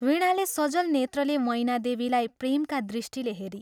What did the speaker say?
वीणाले सजल नेत्रले मैनादेवीलाई प्रेमका दृष्टिले हेरी।